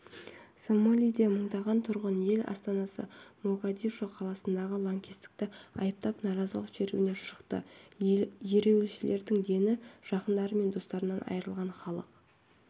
сомалиде мыңдаған тұрғын ел астанасы могадишо қаласындағы лаңкестікті айыптап наразылық шеруіне шықты ереуілшілердің дені жақындары мен достарынан айырылған халық